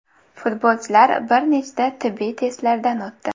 Futbolchilar bir nechta tibbiy testlardan o‘tdi.